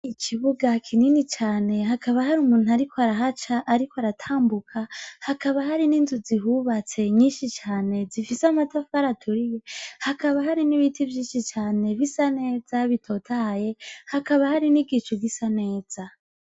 Ikibuga kinini cane hakaba hari umuntu, ariko arahaca, ariko aratambuka hakaba hari n'inzu zihubatse nyinshi cane zifise amatafu araturiye hakaba hari n'ibiti vyinshi cane bisa neza bitotaye hakaba hari n'igicu gisa neza.